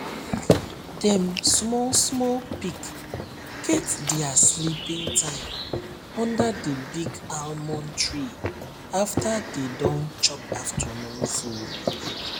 dem small small pig get dia sleeping time under the big almond tree after dey don chop afternoon food